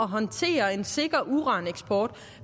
håndtere en sikker uraneksport